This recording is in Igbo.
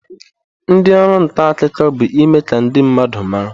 Ndi oru nta akuko bu ime ka ndi mmadu mara.